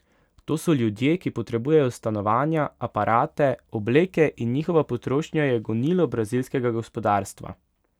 To so ljudje, ki potrebujejo stanovanja, aparate, obleke, in njihova potrošnja je gonilo brazilskega gospodarstva.